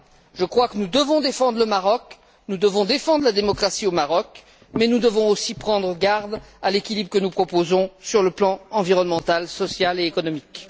Je crois que nous devons défendre le Maroc, nous devons défendre la démocratie au Maroc, mais nous devons aussi prendre garde à l'équilibre que nous proposons sur le plan environnemental, social et économique.